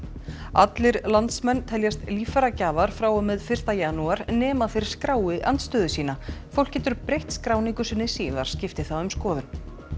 allir landsmenn teljast líffæragjafar frá og með fyrsta janúar nema þeir skrái andstöðu sína fólk getur breytt skráningu sinni síðar skipti það um skoðun